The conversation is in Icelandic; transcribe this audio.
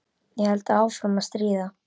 Ég held áfram að stríða.